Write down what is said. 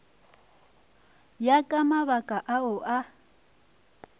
ya ka mabaka ao a